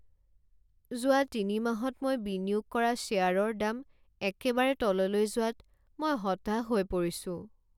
যোৱা তিনিমাহত মই বিনিয়োগ কৰা শ্বেয়াৰৰ দাম একেবাৰে তললৈ যোৱাত মই হতাশ হৈ পৰিছো।